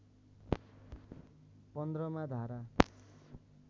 १५ मा धारा